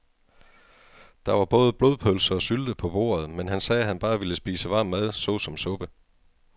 Der var både blodpølse og sylte på bordet, men han sagde, at han bare ville spise varm mad såsom suppe.